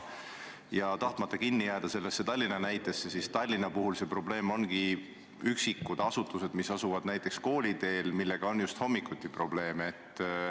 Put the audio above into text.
Tahtmata küll kinni jääda sellesse Tallinna näitesse, ütlen, et Tallinna puhul ongi probleem üksikute asutustega, mis asuvad kooliteel ja millega on just hommikuti probleeme.